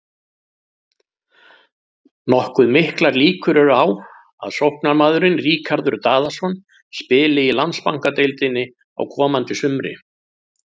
Nokkuð miklar líkur eru á að sóknarmaðurinn Ríkharður Daðason spili í Landsbankadeildinni á komandi sumri.